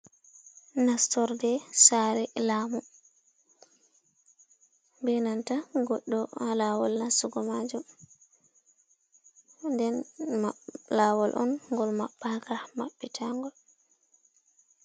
Nastorde sare lamu, benanta goɗɗo ha lawol nastu go majum, den lawol on ngol maɓɓaka maɓɓe tangol.